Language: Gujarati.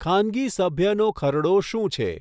ખાનગી સભ્યનો ખરડો શું છે?